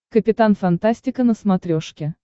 капитан фантастика на смотрешке